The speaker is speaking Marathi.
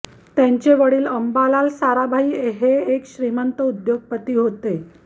त्यांचे वडिल अंबालाल साराभाई हे एक श्रींमत उद्योगपती होते